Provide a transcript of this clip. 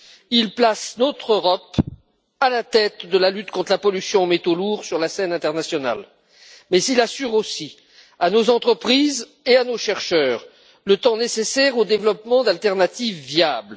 Il place notre Europe à la tête de la lutte contre la pollution aux métaux lourds, sur la scène internationale, mais il laisse aussi à nos entreprises et à nos chercheurs, le temps nécessaire au développement d'alternatives viables.